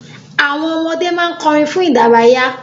Àwọn ọmọdé ma n kọrin fun idaraya.